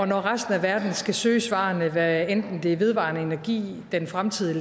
når resten af verden skal søge svarene hvad enten det er om vedvarende energi den fremtidige